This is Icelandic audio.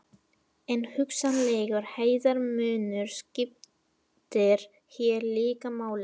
En hugsanlegur hæðarmunur skiptir hér líka máli.